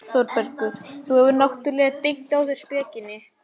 ÞÓRBERGUR: Þú hefur náttúrlega dengt á þær spekinni.